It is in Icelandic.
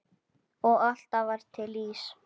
Og alltaf var til ís.